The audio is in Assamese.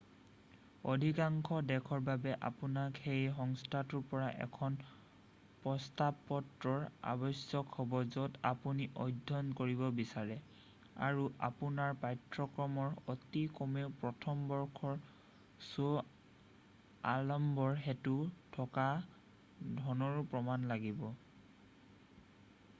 অধিকাংশ দেশৰ বাবে আপোনাক সেই সন্থাটোৰ পৰা এখন প্ৰস্তাৱপত্ৰৰ আৱশ্যক হব য'ত আপুনি অধ্যয়ন কৰিব বিচাৰে আৰু আপোনাৰ পাঠ্যক্ৰমৰ অতি কমেও প্ৰথম বৰ্ষৰ শ্ব আলম্বৰ হেতু থকা ধনৰো প্ৰমাণ লাগিব